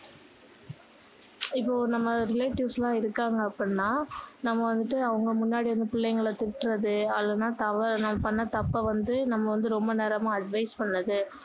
இப்போ நம்ம relatives லாம் இருக்காங்க அப்படின்னா நம்ம வந்துட்டு அவங்க முன்னாடி வந்து பிள்ளைங்கள திட்டுறது இல்லன்னா பண்ண தப்ப வந்து நம்ம வந்து ரொம்ப நேரமா advice பண்றது